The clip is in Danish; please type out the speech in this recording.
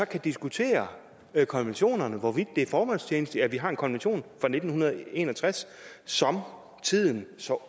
kan diskutere konventionerne og hvorvidt det er formålstjenligt at vi har en konvention fra nitten en og tres som tiden så